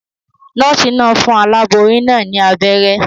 Nòòsì naa n fun aláboyún naa ní abéré